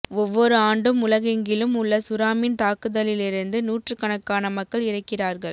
ஒவ்வொரு ஆண்டும் உலகெங்கிலும் உள்ள சுறாமீன் தாக்குதல்களிலிருந்து நூற்றுக்கணக்கான மக்கள் இறக்கிறார்கள்